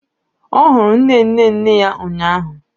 Ọ hụrụ nne nne nne ya ụnyaahụ